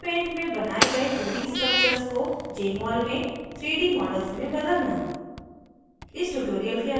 * gchempaint में बनाये गए 2d structures को jmol में 3d models में बदलना